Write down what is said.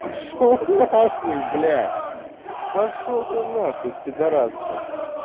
пошёл нахуй блядь пошёл ты нахуй пидорас блядь